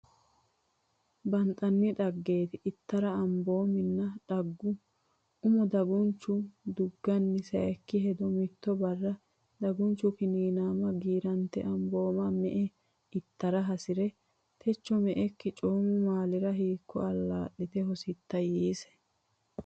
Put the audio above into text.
Banxanni Dhaggete ittara amboominna dhagge umo dagunchu dugganna Saykki hedo Mitto barra dagunchu Kiniinaama giirante ambooma me e itara hasi re Techo me ekki coomu maalira hiikko allaa lite hositta yiise.